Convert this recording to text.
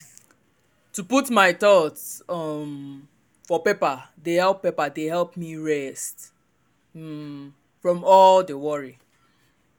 to put my thoughts um for paper dey help paper dey help me rest um from all the worry.